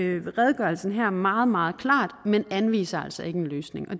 redegørelsen her meget meget klart men den anviser altså ikke en løsning